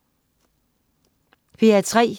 P3: